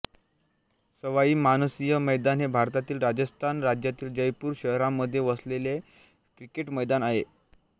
सवाई मानसिंह मैदान हे भारतातील राजस्थान राज्यातील जयपूर शहरामध्ये वसलेले क्रिकेट मैदान आहे